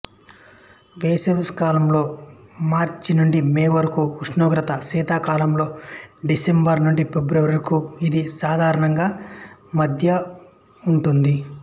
వేసవికాలంలో మార్చి నుండి మే వరకు ఉష్ణోగ్రత శీతాకాలంలో డిసెంబరు నుండి ఫిబ్రవరి వరకు ఇది సాధారణంగా మధ్య ఉంటుంది